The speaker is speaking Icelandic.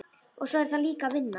Og svo er það líka vinnan.